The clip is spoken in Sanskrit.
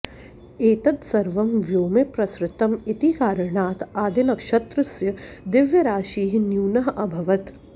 एतत् सर्वं व्योमे प्रसृतम् इति कारणात् आदिनक्षत्रस्य द्रव्यराशिः न्यूनः अभवत्